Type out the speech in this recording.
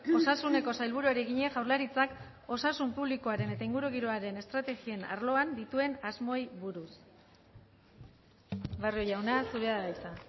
osasuneko sailburuari egina jaurlaritzak osasun publikoaren eta ingurugiroaren estrategien arloan dituen asmoei buruz barrio jauna zurea da hitza